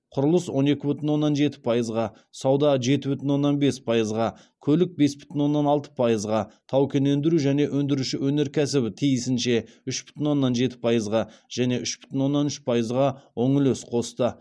құрылыс он екі бүтін оннан жеті пайызға сауда жеті бүтін оннан бес пайызға көлік бес бүтін оннан алты пайызға тау кен өндіру және өңдіруші өнеркәсібі тиісінше үш бүтін оннан жеті пайызға және үш бүтін оннан үш пайызға оң үлес қосты